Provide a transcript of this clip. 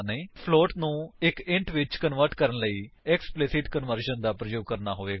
ਇੱਕ ਫਲੋਟ ਨੂੰ ਇੱਕ ਇੰਟ ਵਿੱਚ ਕਨਵਰਟ ਕਰਣ ਲਈ ਸਾਨੂੰ ਐਕਸਪਲਿਸਿਟ ਕਨਵਰਜਨ ਦਾ ਪ੍ਰਯੋਗ ਕਰਨਾ ਹੋਵੇਗਾ